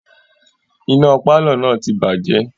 Iná pálọ̀ náà ti bàjẹ́